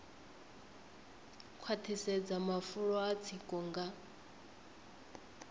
khwaṱhisedza mafulo a tsiko nga